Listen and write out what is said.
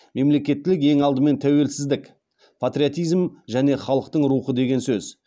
мемлекеттілік ең алдымен тәуелсіздік патриотизм және халықтың рухы деген сөз